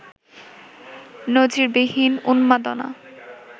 নজিরবিহীন উন্মাদনা